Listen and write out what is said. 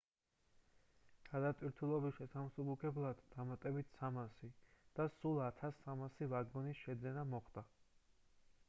გადატვირთულობის შესამსუბუქებლად დამატებით 300 და სულ 1,300 ვაგონის შეძენა მოხდება